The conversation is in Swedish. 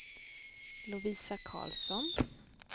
Lovisa Karlsson